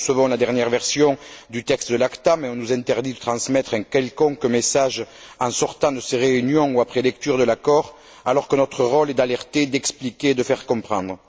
Nous recevons la dernière version du texte de l'ACTA mais on nous interdit de transmettre un quelconque message en sortant de ces réunions ou après lecture de l'accord, alors que notre rôle est d'alerter, d'expliquer, de faire comprendre.